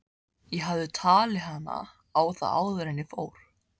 Ég hefði talið hana á það áður en ég fór.